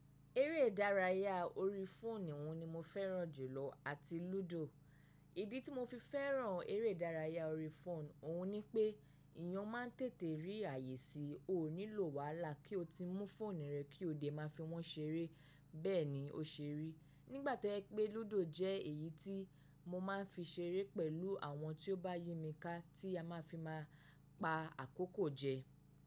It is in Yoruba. Eré ìdárayá orí fóònù ni mo fẹ́ràn jùlọ àti lúdò. Ìdí tí mo fi fẹ́ràn eré ìdárayá orí fóònù, òhun ni pé ìyàn máa ń tètè rí ààyè sí, o nílò wàhálà kí o ti mú fóònù rẹ kí oo dẹ máa fi wọ́n ṣeré bẹ́ẹ̀ ni o ṣeré. Nígbà tó jẹ pé lúdò jẹ́ èyí tí mo máa ń fi ṣeré pẹ̀lú àwọn tí ó bá yí mi ká tí a máa fi máa pa àkókò jẹ.